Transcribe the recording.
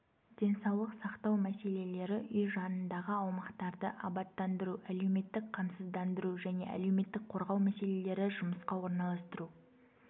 денсаулық сақтау мәселелері үй жанындағы аумақтарды абаттандыру әлеуметтік қамсыздандыру және әлеуметтік қорғау мәселелері жұмысқа орналастыру